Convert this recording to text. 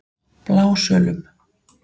Blásölum